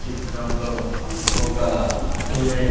చిత్రంలో ఒక వుమెన్ --